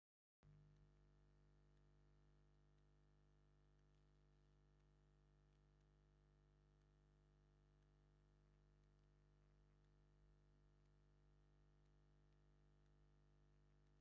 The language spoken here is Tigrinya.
ቆልዑ ቮሊቦል ይፃወቱ ኣለዉ፡፡ እዚ ስፖርት ንኡሽተይ ቦታ ዝጠልብ ብምዃኑ ሰባት ኣብ ዝኾነ ቦታ ክፃወትዎ ይኽእሉ እዮም፡፡ እዚ ፀወታ ንምንታይ እዩ ኣብ ከባቢና ልሙድ ዘይኮነ?